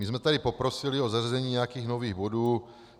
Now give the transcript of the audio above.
My jsme tady poprosili o zařazení nějakých nových bodů.